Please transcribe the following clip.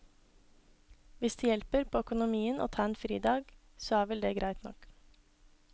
Hvis det hjelper på økonomien å ta en fridag, så er vel det greit nok.